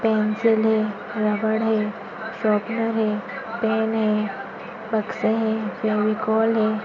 Pencil है rubber है sharpener है पेन है बक्से है फेविकोल है।